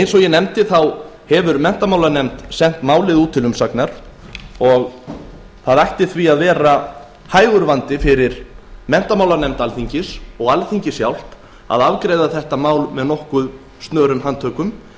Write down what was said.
eins og ég nefndi hefur menntamálanefnd sent málið út til umsagnar og það ætti því að vera hægur vandi fyrir menntamálanefnd alþingis og alþingi sjálft að afgreiða þetta mál með nokkuð snörum handtökum